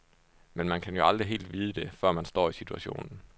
Men man kan jo aldrig helt vide det, før man står i situationen.